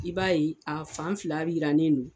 I b'a ye a fan fila bi jirannen don